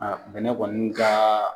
Aa bɛnɛ kɔni ka .